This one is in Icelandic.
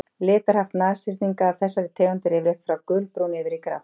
Litarhaft nashyrninga af þessari tegund er yfirleitt frá gulbrúnu yfir í grátt.